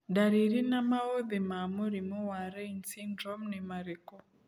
Ndariri na maũthĩ ma mũrimũ wa Raine syndrome nĩ marikũ?